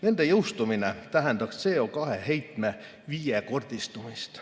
Nende jõustumine tähendaks CO2 heitme viiekordistumist.